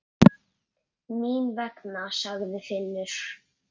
Mín vegna, sagði Finnur.